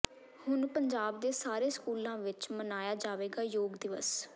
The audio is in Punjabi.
ਹੁਣ ਪੰਜਾਬ ਦੇ ਸਾਰੇ ਸਕੂਲਾਂ ਵਿੱਚ ਮਨਾਇਆ ਜਾਵੇਗਾ ਯੋਗ ਦਿਵਸ